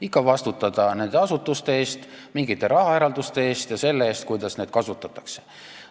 Ikka vastutada nende asutuste eest, mingite rahaeralduste eest ja selle eest, kuidas seda raha kasutatakse.